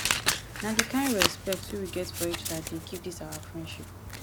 na di kind respect wey we get for eachoda dey keep dis our friendship